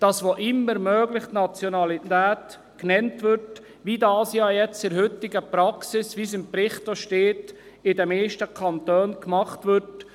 Das heisst, dass wo immer möglich die Nationalität genannt würde, wie dies in der heutigen Praxis – wie es auch im Bericht steht – in den meisten Kantonen gemacht wird.